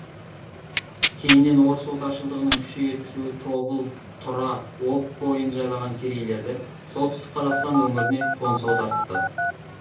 кейіннен орыс отаршылдығының күшейе түсуі тобыл тұра об бойын жайлаған керейлерді солтүстік қазақстан өңіріне қоныс аудартты